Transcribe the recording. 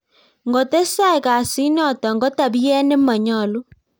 Ngotestai kasitnotok ko tabiet me manyalu